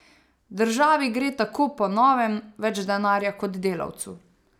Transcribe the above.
Državi gre tako po novem več denarja kot delavcu.